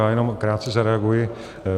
Já jenom krátce zareaguji.